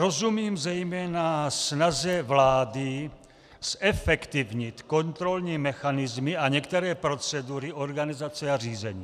Rozumím zejména snaze vlády zefektivnit kontrolní mechanismy a některé procedury organizace a řízení.